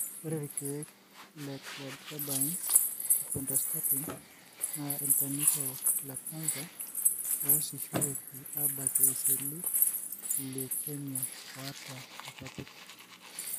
ore ilkeek le cladribine o pentostatin na ilchanito lecanser oasishoreki abakie iseli le lukemia oata ilpapit.